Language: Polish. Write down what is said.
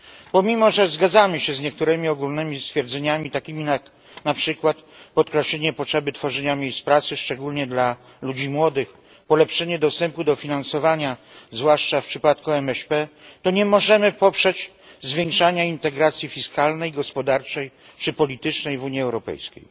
Pomimo że zgadzamy się z niektórymi ogólnymi stwierdzeniami, takimi jak na przykład podkreślenie potrzeby tworzenia miejsc pracy, szczególnie dla ludzi młodych, polepszenie dostępu do finansowania, zwłaszcza w przypadku MŚP, to nie możemy poprzeć zwiększania integracji fiskalnej, gospodarczej czy politycznej w Unii Europejskiej.